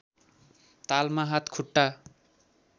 तालमा हात खुट्टा